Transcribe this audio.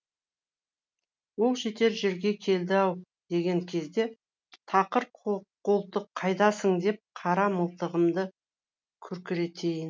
оқ жетер жерге келді ау деген кезде тақыр қолтық қайдасың деп қара мылтығымды күркіретейін